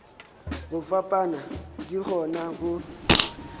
go fapana di kgona go